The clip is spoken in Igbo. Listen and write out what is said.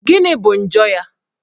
Gịnị bụ njọ ya?